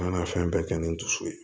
An ka na fɛn bɛɛ kɛ ni n dusu ye